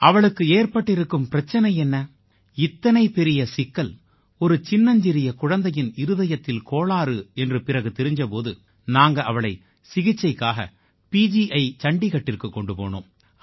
அவளுக்கு ஏற்பட்டிருக்கும் பிரச்சினை என்ன இத்தனை பெரிய சிக்கல் ஒரு சின்னஞ்சிறிய குழந்தையின் இருதயத்தில் கோளாறு என்று பிறகு தெரிஞ்ச போது நாங்க அவளை சிகிச்சைக்காக பிஜிஐ சண்டீகட்டிற்குக் கொண்டு போனோம்